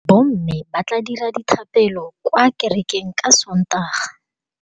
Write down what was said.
Bommê ba tla dira dithapêlô kwa kerekeng ka Sontaga.